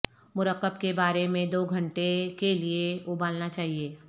مرکب کے بارے میں دو گھنٹے کے لئے ابالنا چاہئے